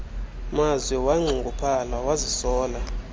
mazwi wanxunguphala wazisola